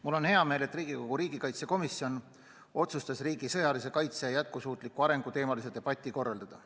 Mul on hea meel, et Riigikogu riigikaitsekomisjon otsustas riigi sõjalise kaitse ja jätkusuutliku arengu teemalise debati korraldada.